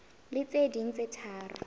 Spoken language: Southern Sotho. le tse ding tse tharo